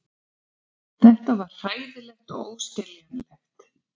Þetta var hræðilegt og óskiljanlegt.